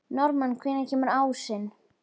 Norðmann, hvenær kemur ásinn?